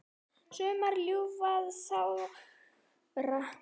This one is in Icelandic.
Sumar ljúfar aðrar sárar.